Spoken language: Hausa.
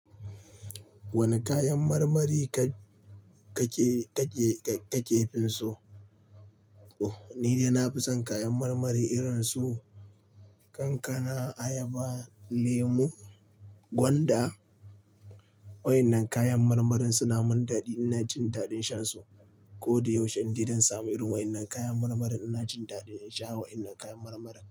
Wane kayan marmari ka, ka ke, ka ke, ka, ka ke finsu? Oh, ni dai na fi son kayan marmari irin su kankana, ayaba, lemu, gwanda. Wa'innan kayan marmarin suna mun daɗi in na ci daɗin shan su. Ko da yaushe indai zan samu irin wa'innan kayan marmarin ina jin daɗin in sha wa'innan kayan marmara.